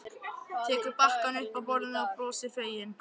Tekur bakkann upp af borðinu og brosir, fegin.